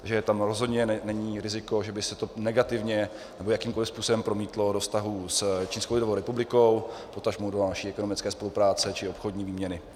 Takže tam rozhodně není riziko, že by se to negativně nebo jakýmkoli způsobem promítlo do vztahů s Čínskou lidovou republikou, potažmo do naší ekonomické spolupráce či obchodní výměny.